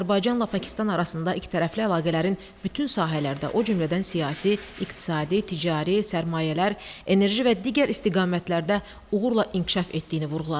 Azərbaycanla Pakistan arasında ikitərəfli əlaqələrin bütün sahələrdə, o cümlədən siyasi, iqtisadi, ticari, sərmayələr, enerji və digər istiqamətlərdə uğurla inkişaf etdiyini vurğuladı.